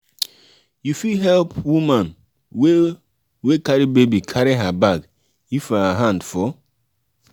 you fit help um woman um wey wey carry baby carry her bag if her hand full